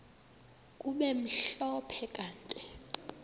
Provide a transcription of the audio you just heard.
kube mhlophe kanti